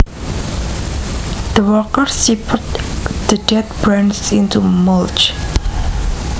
The workers chipped the dead branches into mulch